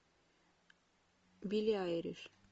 билли айлиш